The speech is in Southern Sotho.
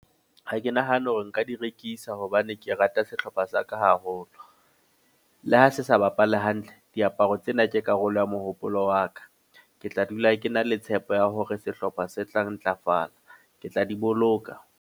Ha ke nahane hore nka di rekisa, hobane ke rata sehlopha sa ka haholo. Le ha se sa bapale hantle. Diaparo tsena ke karolo ya mohopolo wa ka. Ke tla dula ke na le tshepo ya hore sehlopha se tla ntlafala. Ke tla di boloka.